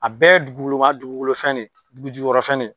A bɛɛ duguwolowa duguwolo fɛn ne dugujukɔrɔ fɛn ne